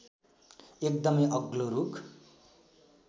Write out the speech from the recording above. एकदमै अग्लो रूख